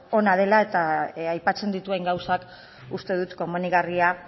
ona dela eta aipatzen dituen gauzak uste dut komenigarria